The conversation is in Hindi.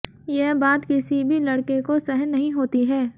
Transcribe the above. यह बात किसी भी लड़के को सहन नहीं होती है